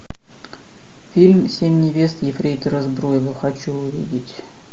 фильм семь невест ефрейтора збруева хочу увидеть